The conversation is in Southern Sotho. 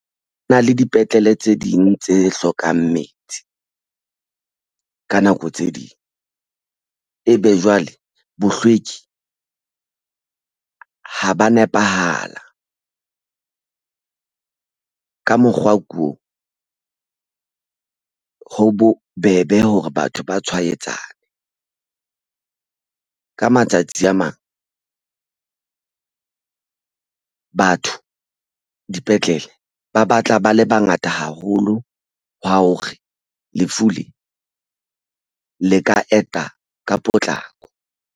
Ho na le dipetlele tse ding tse hlokang metsi ka nako tse ding ebe jwale bohlweki ha ba nepahala ka mokgwa ko ho bobebe hore batho ba tshwaetsane. Ka matsatsi a mang batho dipetlele ba batla ba le bangata haholo. Hwa hore lefu le le ka eta ka potlako.